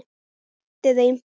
sinnti þeim.